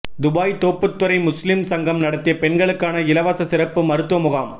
Dubai Thopputhurai முஸ்லிம் சங்கம் நடத்திய பெண்களுக்கான இலவச சிறப்பு மருத்துவ முகாம்